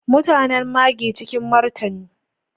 Mutanen Marghi, a cikin martani.